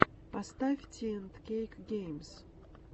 поставь ти энд кейк геймс